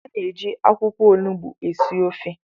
A na-eji akwụkwọ onugbu esi ofe